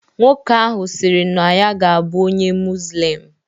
Nwoke ahụ sịrị na ya ga-abụ onye muzlim